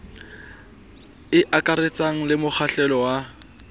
e akaretsang le mokgahlelo wa